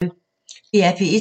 DR P1